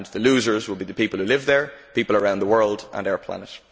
The losers will be the people who live there, people around the world and our planet.